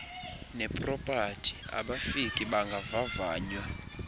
ngepropati abafiki bangavavanywa